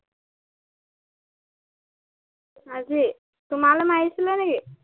আজি তোমালে মাৰিছিলে নে কি?